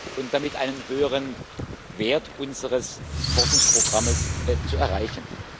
und damit einen höheren Wert unseres Forschungsprogramms zu erreichen.